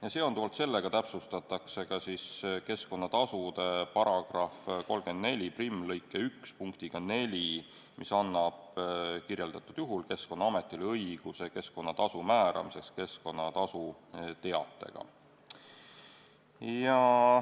Ja seonduvalt sellega täiendatakse keskkonnatasude § 341 lõiget 1 punktiga 4, mis annab nimetatud juhul Keskkonnaametile õiguse keskkonnatasu määramiseks keskkonnatasu teatega.